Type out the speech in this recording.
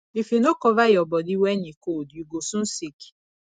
if you no cover your body when e cold you go soon sick